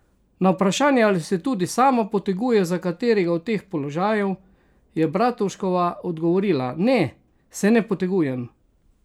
Na vprašanje, ali se tudi sama poteguje za katerega od teh položajev, je Bratuškova odgovorila: "Ne, se ne potegujem.